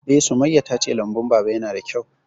Eh, Sumayya ta ce lambun Baba ya na da kyau